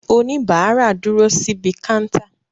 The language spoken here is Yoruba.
Òníbarà dúró síbi káńtà